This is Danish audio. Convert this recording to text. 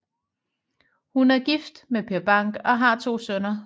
Hun er gift med Per Bank og har to sønner